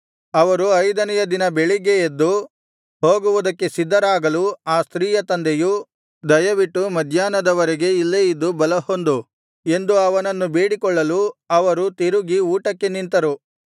ಅವರು ಐದನೆಯ ದಿನ ಬೆಳಿಗ್ಗೆ ಎದ್ದು ಹೋಗುವುದಕ್ಕೆ ಸಿದ್ಧರಾಗಲು ಆ ಸ್ತ್ರೀಯ ತಂದೆಯು ದಯವಿಟ್ಟು ಮಧ್ಯಾಹ್ನದವರೆಗೆ ಇಲ್ಲೇ ಇದ್ದು ಬಲಹೊಂದು ಎಂದು ಅವನನ್ನು ಬೇಡಿಕೊಳ್ಳಲು ಅವರು ತಿರುಗಿ ಊಟಕ್ಕೆ ನಿಂತನು